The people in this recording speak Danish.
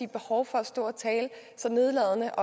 behov for at stå og tale så nedladende